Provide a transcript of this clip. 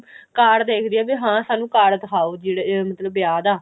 card ਦੇਖਦੀ ਬੀ ਹਾਂ ਸਾਨੂੰ card ਦਿਖਾਓ ਜਿਹੜੇ ਮਤਲਬ ਵਿਆਹ ਦਾ